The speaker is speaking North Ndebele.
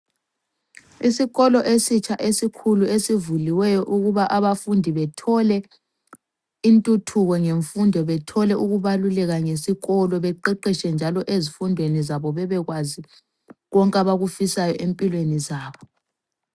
Isikolo esitsha esikhulu esivuliweyo ukuba abafundi bethole intuthuko ngemfundo, bethole ukubaluleka ngesikolo, beqeqetshe njalo ezifundweni zabo bebekwazi konke abakufisayo empilweni zabo.